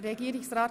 Regierungsrat